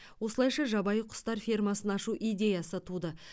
осылайша жабайы құстар фермасын ашу идеясы туды